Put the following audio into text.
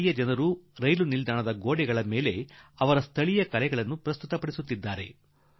ಸ್ಥಳೀಯರು ರೈಲ್ವೇ ನಿಲ್ದಾಣದ ಗೊಡೆಗಳ ಮೇಲೆ ತಮ್ಮ ಭಾಗದ ಚಿತ್ರಗಳನ್ನು ತಮ್ಮ ಕಲೆಯ ಮೂಲಕ ಸಾದರಪಡಿಸುತ್ತಿದ್ದಾರೆ